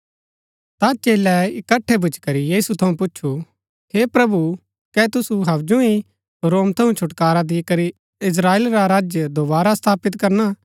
ता चेलै इकट्ठै भूच्ची करी यीशु थऊँ पुछु हे प्रभु कै तुसु हवजु ही रोम थऊँ छुटकारा दिकरी इस्त्राएल रा राज्य दोवारा स्थापित करणा